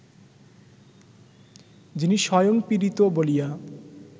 যিনি স্বয়ং পীড়িত বলিয়া